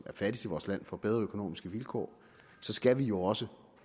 er fattigst i vores land får bedre økonomiske vilkår skal vi jo også